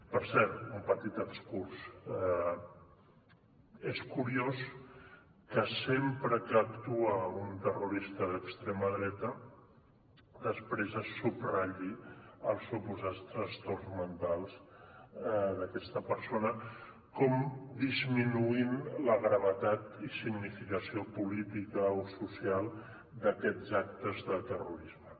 per cert un petit excurs és curiós que sempre que actua un terrorista d’extrema dreta després se subratlli els suposats trastorns mentals d’aquesta persona com disminuint la gravetat i significació política o social d’aquests actes de terrorisme